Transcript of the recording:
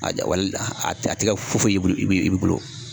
A ja walda a tɛ a tɛ kɛ fu fu y'i bolo i b'i i bolo